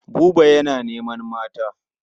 Buba yana neman mata.